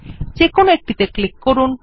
যেকোনো একটিতে ক্লিক করুন